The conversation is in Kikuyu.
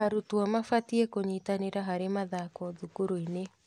Arutwo mabatiĩ kũnyitanĩra harĩ mathako thukuru-inĩ.